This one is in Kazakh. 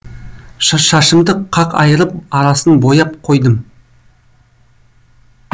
шашымды қақ айырып арасын бояп қойдым